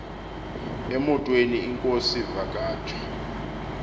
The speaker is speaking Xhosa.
emotweni inkosi vakhatshwa